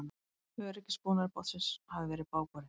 Öryggisbúnaður bátsins hafi verið bágborinn